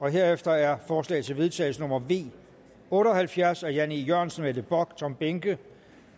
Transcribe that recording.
herefter er forslag til vedtagelse nummer v otte og halvfjerds af jan e jørgensen mette bock og tom behnke